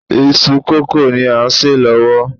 Iṣu kókò ni à ń sè lọ́wọ́